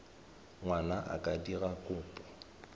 ngwana a ka dira kopo